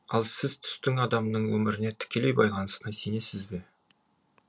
ал сіз түстің адамның өміріне тікелей байланысына сенесіз бе